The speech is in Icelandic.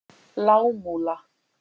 Lágmúla